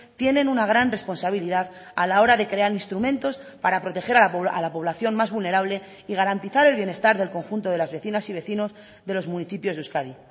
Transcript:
tienen una gran responsabilidad a la hora de crear instrumentos para proteger a la población más vulnerable y garantizar el bienestar del conjunto de las vecinas y vecinos de los municipios de euskadi